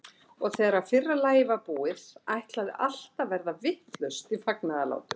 Og þegar fyrra lagið var búið, ætlaði allt að verða vitlaust í fagnaðarlátum.